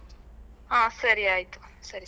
ಹಾ ಸರಿ ಆಯ್ತು ಸರಿ ಸರಿ.